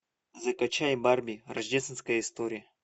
закачай барби рождественская история